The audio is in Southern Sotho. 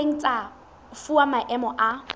ileng tsa fuwa maemo a